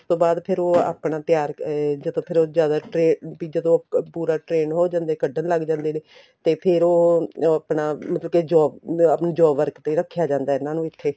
ਉਸ ਤੋਂ ਬਾਅਦ ਫ਼ੇਰ ਉਹ ਆਪਣਾ ਤਿਆਰ ਅਹ ਜਦੋਂ ਫ਼ਿਰ ਜਿਆਦਾ ਵੀ ਉਹ ਪੂਰਾ trend ਹੋ ਜਾਂਦੇ ਨੇ ਕੱਢਣ ਲੱਗ ਜਾਂਦੇ ਨੇ ਤੇ ਫ਼ੇਰ ਉਹ ਆਪਣਾ ਕੇ job ਆਪਣੀ job work ਤੇ ਹੀ ਰੱਖਿਆ ਜਾਂਦਾ ਇਹਨਾ ਨੂੰ ਇੱਥੇ